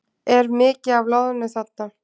Er mikið af loðnu þarna?